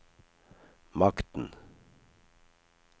makten